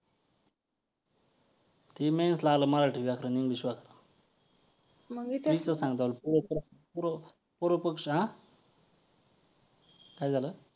तुम्ही अ बले अ स्यायपाक घरा मधे जेवण बनू नका पण तुम्हाला आत मधे येण्याची परवानगी आहे. किंवा जे आपण कुठे मंदिरा मधे बसू जर आपण उदारन बगितल